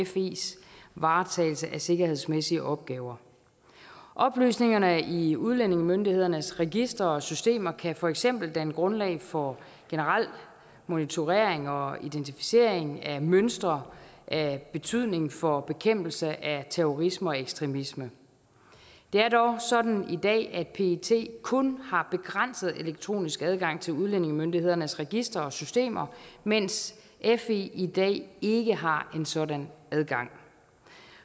fes varetagelse af sikkerhedsmæssige opgaver oplysningerne i udlændingemyndighedernes registre og systemer kan for eksempel danne grundlag for generel monitorering og identificering af mønstre af betydning for bekæmpelse af terrorisme og ekstremisme det er dog sådan i dag at pet kun har begrænset elektronisk adgang til udlændingemyndighedernes registre og systemer mens fe i dag ikke har en sådan adgang